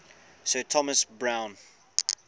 sir thomas browne